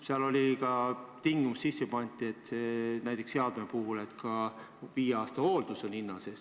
Sisse oli pandud ka selline tingimus, et näiteks seadme puhul on viie aasta hooldus hinna sees.